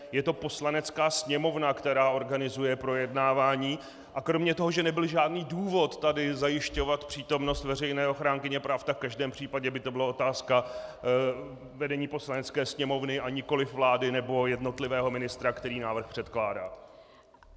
Je to Poslanecká sněmovna, která organizuje projednávání, a kromě toho, že nebyl žádný důvod tady zajišťovat přítomnost veřejné ochránkyně práv, tak v každém případě by to byla otázka vedení Poslanecké sněmovny, a nikoli vlády nebo jednotlivého ministra, který návrh předkládá.